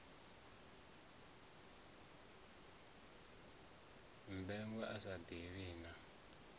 mmbengwa a sa ḓivhi na